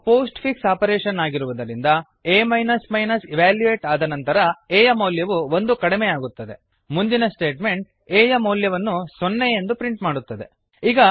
ಇದು post fix operation ಆಗಿರುವುದರಿಂದ ಆ ಇವ್ಯಾಲ್ಯುಯೇಟ್ ಆದ ನಂತರ a ಯ ಮೌಲ್ಯವು ಒಂದು ಕಡಿಮೆಯಾಗುತ್ತದೆ ಮುಂದಿನ ಸ್ಟೇಟ್ಮೆಂಟ್ a ಯ ಮೌಲ್ಯವನ್ನು ಸೊನ್ನೆ ಎಂದು ಪ್ರಿಂಟ್ ಮಾಡುತ್ತದೆ